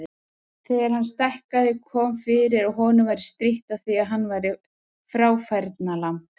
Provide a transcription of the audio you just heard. Þegar hann stækkaði kom fyrir að honum væri strítt á því að hann væri fráfærnalamb.